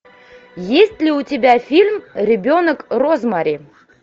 есть ли у тебя фильм ребенок розмари